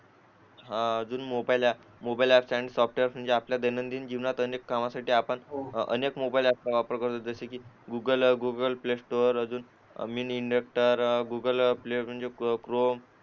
अं अजून mobile app mobile app software कामासाठी आपण दैनंदिन जीवनात अनेक मोबाईल ॲप वर जसे की Google Google Play Store Google Chrome